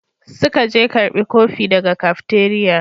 Suka je karbi kofi daga cafeteria.